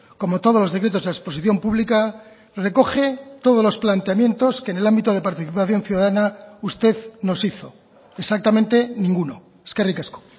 como todos los decretos a exposición pública recoge todos los planteamientos que en el ámbito de participación ciudadana usted nos hizo exactamente ninguno eskerrik asko